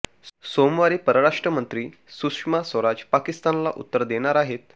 सोमवारी परराष्ट्र मंत्री सुषमा स्वराज पाकिस्तानला उत्तर देणार आहेत